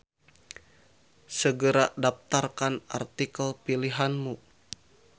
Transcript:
Segera daftarkan artikel pilihanmu.